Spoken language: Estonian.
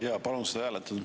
Jaa, palun seda hääletada.